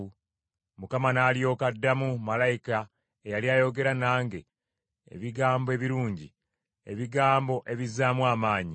Mukama n’alyoka addamu malayika eyali ayogera nange ebigambo ebirungi, ebigambo ebizzaamu amaanyi.